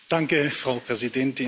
Frau Präsidentin!